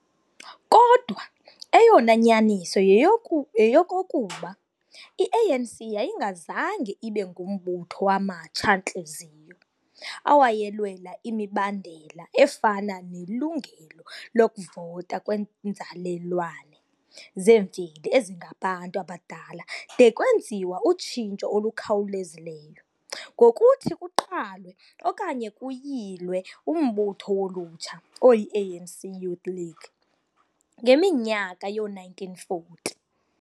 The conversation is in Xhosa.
Kodwa, eyona nyaniso yeyoku yeyokokuba, i-ANC yayingazange ibe ngumbutho wamatsha-ntliziyo awayelwela imibandela efana nelungelo lokuvota kwenzalelwane zemveli ezingabantu abadala de kwenziwa utshintsho olukhawulezileyo ngokuthi kuqalwe okanye kuyilwe umbutho wolutsha oyiANC Youth League ngeminyaka yoo-1940.